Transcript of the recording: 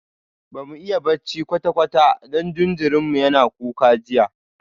Bamu iya bacci kwata-kwata don jinjirin mu yana kuka jiya